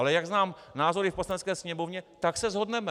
Ale jak znám názory v Poslanecké sněmovně, tak se shodneme.